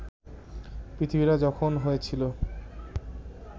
পৃথিবীটা যখন হয়েছিল